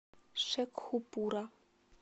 шекхупура